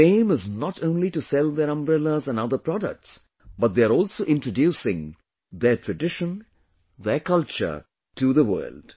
Their aim is not only to sell their umbrellas and other products, but they are also introducing their tradition, their culture to the world